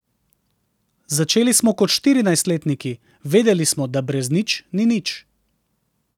Začeli smo kot štirinajstletniki, vedeli smo, da brez nič ni nič.